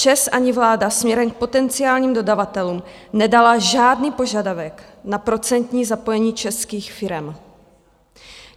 ČEZ ani vláda směrem k potenciálním dodavatelům nedala žádný požadavek na procentní zapojení českých firem.